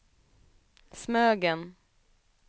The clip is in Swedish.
Smögen